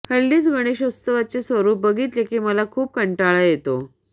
हल्लीच गणेशोत्सवाचे स्वरुप बघितले की मला खूप कंटाळा येतो